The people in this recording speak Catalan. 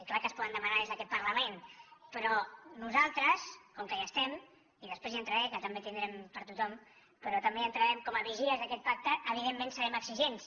clar que es poden demanar des d’aquest parlament però nosaltres com que hi estem i després hi entraré que també en tindrem per tothom però també hi entrarem com a vigilants d’aquest pacte evidentment serem exigents